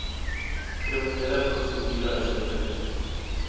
kriminele prosedure huishoudelike